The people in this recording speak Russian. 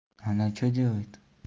она что делает